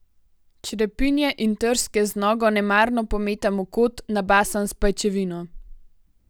Črepinje in trske z nogo nemarno pometam v kot, nabasan s pajčevino.